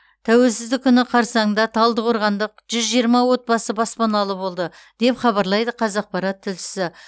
тәуелсіздік күні қарсаңында талдықорғандық жүз жиырма отбасы баспаналы болды деп хабарлайды қазақпарат тілшісі